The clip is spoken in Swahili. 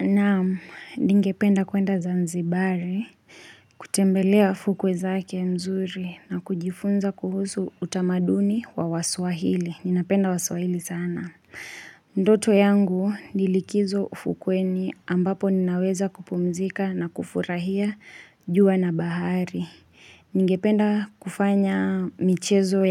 Naam ningependa kwenda zanzibari, kutembelea fukwe zake nzuri na kujifunza kuhusu utamaduni wa waswahili. Ninapenda wasuahili sana. Ndoto yangu nilikizo ufukweni ambapo ninaweza kupumzika na kufurahia jua na bahari. Ningependa kufanya michezo